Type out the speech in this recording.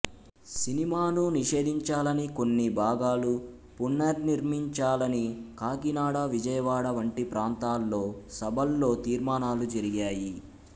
సినిమాను నిషేధించాలని కొన్ని భాగాలు పునర్నిర్మించాలని కాకినాడ విజయవాడ వంటి ప్రాంతాల్లో సభల్లో తీర్మానాలు జరిగాయి